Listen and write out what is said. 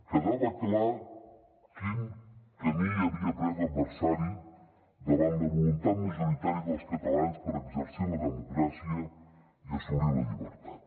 quedava clar quin camí havia pres l’adversari davant la voluntat majoritària dels catalans per exercir la democràcia i assolir la llibertat